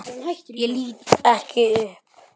Ég lít ekki upp.